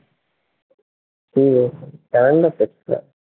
calender দেখতে হবে